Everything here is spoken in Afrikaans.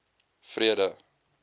vrede